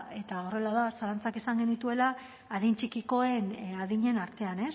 eta horrela da zalantzak izan genituela adin txikikoen adinen artean